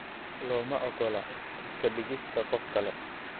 Lama oggola iska dhigista qof kale.